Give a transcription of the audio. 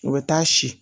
U bɛ taa si